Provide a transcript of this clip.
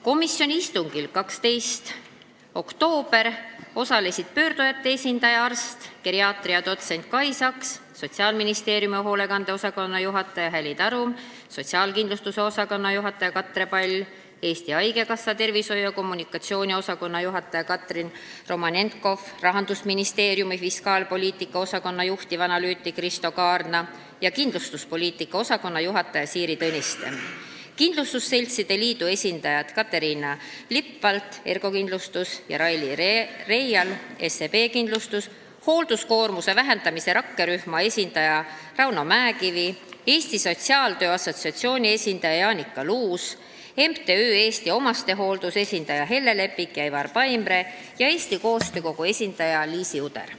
Komisjoni istungil 12. oktoobril osalesid pöördujate esindaja, arst, geriaatria dotsent Kai Saks, Sotsiaalministeeriumi hoolekande osakonna juhataja Häli Tarum, sotsiaalkindlustuse osakonna juhataja Katre Pall, Eesti Haigekassa tervishoiu- ja kommunikatsiooniosakonna juhataja Katrin Romanenkov, Rahandusministeeriumi fiskaalpoliitika osakonna juhtivanalüütik Risto Kaarna ja kindlustuspoliitika osakonna juhataja Siiri Tõniste, kindlustusseltside liidu esindajad Caterina Lepvalts ja Raili Reial , hoolduskoormuse vähendamise rakkerühma esindaja Rauno Mäekivi, Eesti Sotsiaaltöö Assotsiatsiooni esindaja Jaanika Luus, MTÜ Eesti Omastehooldus esindajad Helle Lepik ja Ivar Paimre ning Eesti Koostöö Kogu esindaja Liisi Uder.